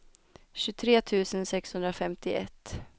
tjugotre tusen sexhundrafemtioett